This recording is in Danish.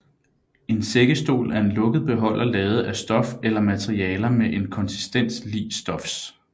En sækkesstol er en lukket beholder lavet af stof eller materialer med en konsistens lig stofs